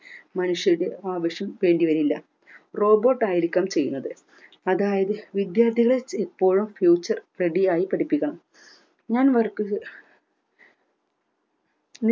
മനുഷ്യരുടെ ആവശ്യം വേണ്ടി വരില്ല robot ആയിരിക്കാം ചെയ്യുന്നത് അതായത് വിദ്യാർത്ഥികളെ ഇപ്പോഴും future ready യായി പഠിപ്പിക്കണം ഞാൻ work ഉ ചെ